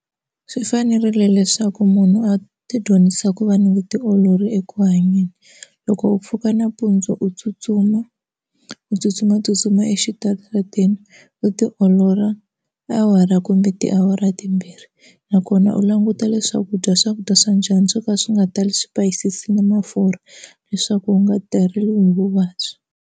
Swi fanerile leswaku munhu a ti dyondzisa ku va ni vutiolori eku hanyeni, loko u pfuka nampundzu u tsutsuma u tsutsumatsutsuma exitarateni u tiolola awara kumbe tiawara timbirhi. akona u languta leswaku dya swakudya swa njhani swo ka swi nga tali swipayisisi ni mafurha leswaku u nga teriwi hi vuvabyi.